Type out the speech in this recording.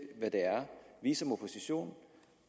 er vi som opposition